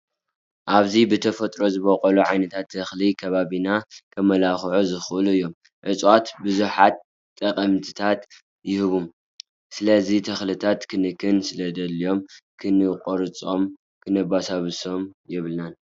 ኣብዚ ብተፍጥሮ ዝበቁሉ ዓይነታት ተኽሊታት ከባቢና ከማላክዑን ዝኽእሉ እዮም። እፅዋት ብዙሓት ጠቅሚታት ይህቡ። ስለዚ ተኽሊታት ክንክን ስለዘድልዮም ክንቆርፆም ክነብርሶም የብልናን ።